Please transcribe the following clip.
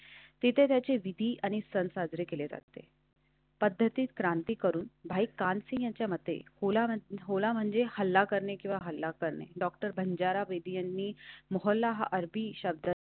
तिथे त्याचे विधी आणि सण साजरे केले जाते. पद्धतीत क्रांती करून बाईक कालसी यांच्यामध्ये होळा म्हणजे हल्ला करणे किंवा हल्ला करणे. डॉक्टर बंजारा वैदि मोहल्ला हा अरबी शब्द